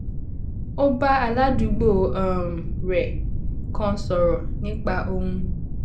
ó bá aládùúgbò um rè kan sòrò nípa ohun